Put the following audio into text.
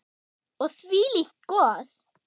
Og þvílíkt gos.